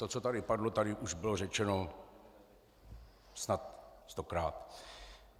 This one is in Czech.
To, co tady padlo, tady už bylo řečeno snad stokrát.